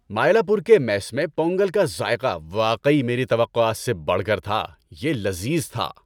مائیلاپور کے میس میں پونگل کا ذائقہ واقعی میری توقعات سے بڑھ کر تھا۔ یہ لذیذ تھا۔